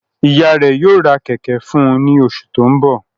Iya rẹ yoo ra kẹ̀kẹ́ fun u ni osu to nbo